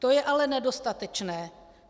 To je ale nedostatečné.